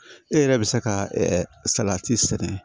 E yɛrɛ bɛ se ka salati sɛnɛ